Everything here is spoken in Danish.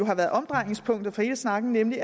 har været omdrejningspunktet for hele snakken nemlig